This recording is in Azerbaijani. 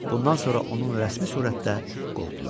Bundan sonra onun rəsmi surətdə qovdular.